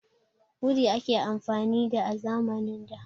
Wuri ake amfani da, a zamanin da.